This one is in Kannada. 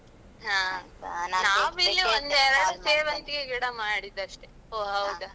ಹ. ಒಂದೆರಡು ಸೇವಂತಿಗೆ ಗಿಡ ಮಾಡಿದ್ದಷ್ಟೇ ಓ ಹೌದಾ.